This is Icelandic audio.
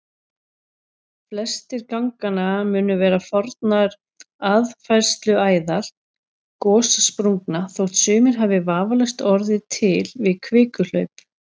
Flestir ganganna munu vera fornar aðfærsluæðar gossprungna þótt sumir hafi vafalaust orðið til við kvikuhlaup.